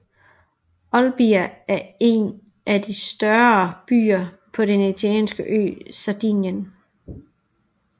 Olbia er en af de større byer på den italianske ø Sardinien